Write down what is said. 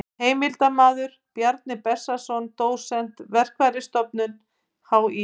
Heimildarmaður: Bjarni Bessason dósent, Verkfræðistofnun HÍ.